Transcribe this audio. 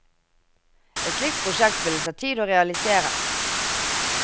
Et slikt prosjekt vil det ta tid å realisere.